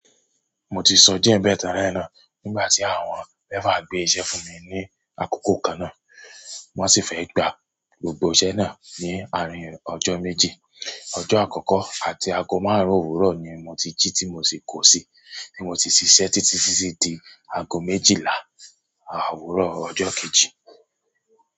Mo ti sọ díẹ̀ n bẹ̀ telẹ́ náà nígbà tí àwọn mẹ́fà gbé iṣẹ́ fún mi ní àkókò kan náà. Wọ́n sì fẹ́ gba gbogbo iṣẹ́ náà ní àárín ọjọ́ méjì. Ọjọ́ àkọ́kọ́ àti ago márùn-ún òwúrọ̀ ni mo ti jí tí mo sì kọ̀ sí, tí mo sì ṣiṣẹ́ títí sí di ago méjìlá àárọ̀ ọjọ́ kejì.